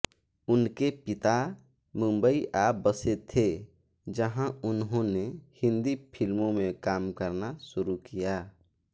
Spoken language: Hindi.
उनके पिता मुंबई आ बसे थे जहाँ उन्होने हिन्दी फ़िल्मों में काम करना शुरू किया